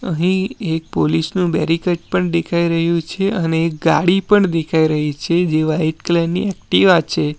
અહીં એક પોલીસ નું બેરીકેટ પણ દેખાઈ રહ્યું છે અને ગાડી પણ દેખાય રહી છે જે વાઈટ કલર ની એકટીવા છે.